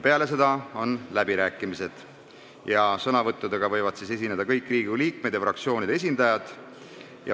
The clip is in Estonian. Peale seda on läbirääkimised ja sõna võivad võtta kõik Riigikogu liikmed ja fraktsioonide esindajad.